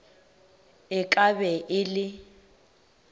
e ka be e le